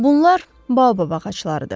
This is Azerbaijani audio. Bunlar Baobab ağaclarıdır.